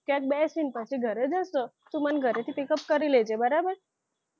ત્યાં જ બેસીને પછી ઘરે જઈશું તું મને ઘરેથી pikup કરી લેજે બરાબર